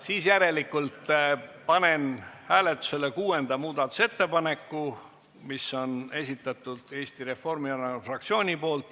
Nii, järelikult panen hääletusele kuuenda muudatusettepaneku, mille on esitanud Eesti Reformierakonna fraktsioon.